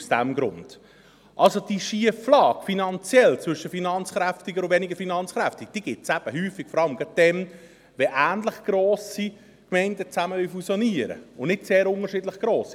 Also: Die finanzielle Schieflage zwischen finanzkräftig und weniger finanzkräftig gibt es eben häufig gerade dann, wenn ähnlich grosse Gemeinden fusionieren wollen, und nicht bei sehr unterschiedlich grossen.